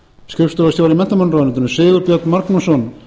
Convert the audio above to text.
skrifstofustjóra í menntamálaráðuneyti sigurbjörn magnússon